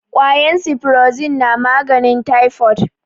kwayan siforozin na maganin taifod